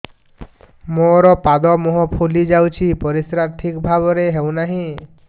ମୋର ପାଦ ମୁହଁ ଫୁଲି ଯାଉଛି ପରିସ୍ରା ଠିକ୍ ଭାବରେ ହେଉନାହିଁ